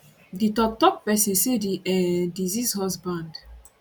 di toktok pesin say di um deceased husband